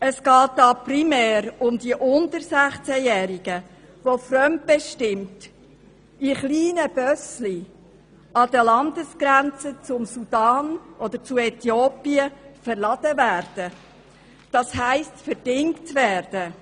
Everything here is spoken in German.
Es geht primär um die unter 16Jährigen, welche an den Landesgrenzen zum Sudan oder zu Äthiopien fremdbestimmt in kleine Busse verladen werden, das heisst verdingt werden.